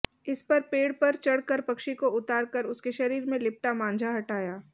इस पर पेड़ पर चढ़कर पक्षी को उतार कर उसके शरीर में लिपटा मांझा हटाया